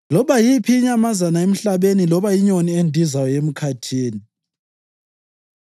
loba yiphi inyamazana emhlabeni loba inyoni endizayo emkhathini,